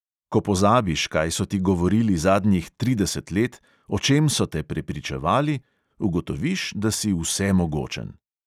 Ko pozabiš, kaj so ti govorili zadnjih trideset let, o čem so te prepričevali, ugotoviš, da si vsemogočen.